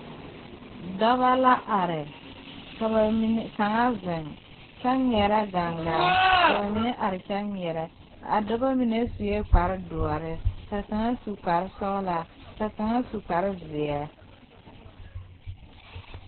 Dɔbɔ la are ka ba mine kaŋa zeŋ kyɛ ŋmeɛrɛ gaŋgaa ka ba mine are kyɛ ŋmeɛrɛ a daba mine sue kpare doɔre ka kaŋa su kpare sɔglaa ka kaŋa su kpare zeɛ.